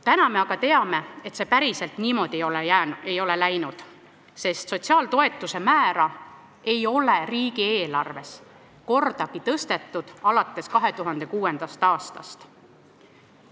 Täna me aga teame, et see päriselt niimoodi ei ole läinud, sotsiaaltoetuste määra ei ole riigieelarves tõstetud alates 2006. aastast.